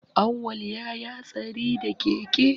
Awwal ya yi hatsari da keke